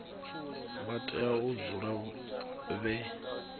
vha tea u dzula vhe